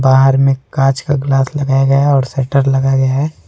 बाहर में कांच का ग्लास लगाया गया है और शटर लगाया गया है।